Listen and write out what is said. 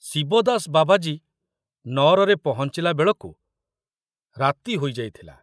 ଶିବଦାସ ବାବାଜୀ ନଅରରେ ପହଞ୍ଚିଲା ବେଳକୁ ରାତି ହୋଇଯାଇଥିଲା।